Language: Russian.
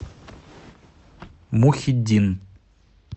мухиддин